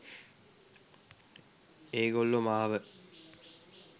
ඒගොල්ලො මාව